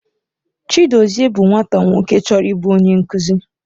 Chidozie bụ nwata nwoke chọrọ ịbụ onye nkuzi.